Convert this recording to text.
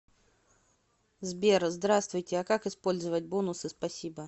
сбер здравствуйте а как использовать бонусы спасибо